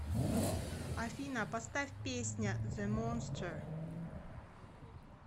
афина поставь песня зе монстер